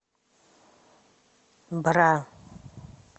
бра